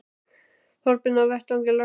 Þorbjörn: Á vettvangi löggjafans?